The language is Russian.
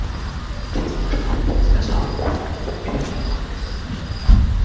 я слышал о них сказал куинн небрежно